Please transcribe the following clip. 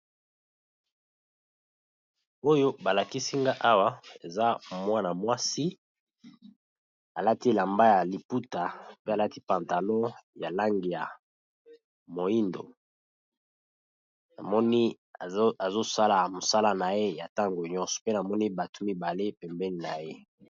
Oyo ba lakisi nga awa eza mwana mwasi alati elamba ya liputa pe alati pantalon ya langi ya moyindo, namoni azo sala mosala na ye ya ntango nyonso mpe namoni bato mibale pembeni na ye.